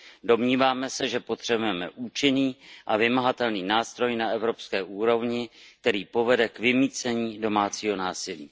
Domníváme se, že potřebujeme účinný a vymahatelný nástroj na evropské úrovni, který povede k vymýcení domácího násilí.